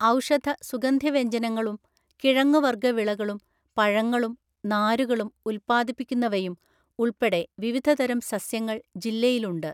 ഔഷധ, സുഗന്ധവ്യഞ്ജനങ്ങളും, കിഴങ്ങുവർഗ്ഗ വിളകളും, പഴങ്ങളും നാരുകളും ഉൽപ്പാദിപ്പിക്കുന്നവയും ഉൾപ്പെടെ വിവിധതരം സസ്യങ്ങൾ ജില്ലയിലുണ്ട്.